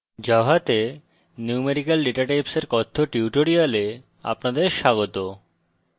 জাভাতে numerical datatypes এর কথ্য tutorial আপনাদের স্বাগত